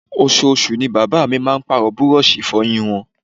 Oṣooṣù ni bàbá mi máa ń Pààrọ̀ búrọ́ọ̀ṣì Ìfọ̀yín wọn